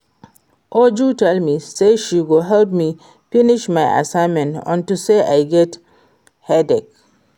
Uju tell me say she go help me finish my assignment unto say I get headache